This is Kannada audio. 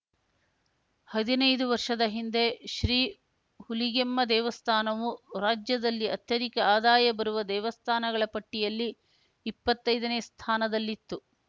ಹದಿನೈದು ವರ್ಷದ ಹಿಂದೆ ಶ್ರೀ ಹುಲಿಗೆಮ್ಮ ದೇವಸ್ಥಾನವು ರಾಜ್ಯದಲ್ಲಿ ಅತ್ಯಧಿಕ ಆದಾಯ ಬರುವ ದೇವಸ್ಥಾನಗಳ ಪಟ್ಟಿಯಲ್ಲಿ ಇಪ್ಪತ್ತೈದನೇ ಸ್ಥಾನದಲ್ಲಿತ್ತು